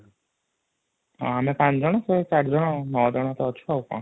ହଁ ଆମେ 5 ଜଣ ସେ 4 ଜଣ 9 ଜଣ ତ ଅଛ ଆଉ କ'ଣ ?